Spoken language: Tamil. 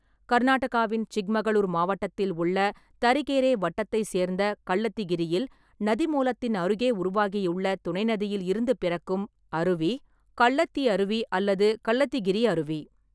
கர்நாடகாவின் சிக்மகளூர் மாவட்டத்தில் உள்ள தரிகேரே வட்டத்தைச் சேர்ந்த கள்ளத்திகிரியில் நதி மூலத்தின் அருகே உருவாகியுள்ள துணை நதியில் இருந்து பிறக்கும் அருவி கள்ளத்தி அருவி அல்லது கள்ளத்திகிரி அருவி.